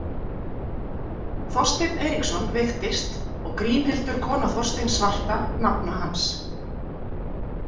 Þorsteinn Eiríksson veiktist og Grímhildur kona Þorsteins svarta, nafna hans.